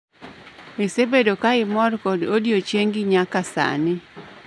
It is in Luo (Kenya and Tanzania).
Isebedo ka imor kod odiechiengi nyaka sani